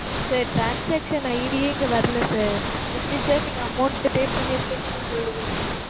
sir transaction ID ஏ இங்க வரல sir. எப்படி sir நீங்க amount pay பண்ணிருக்கேன்னு நீங்கச் சொல்லுவீங்க